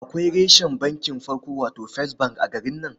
Akwai reshen bankin farko, wato first bank a garin nan.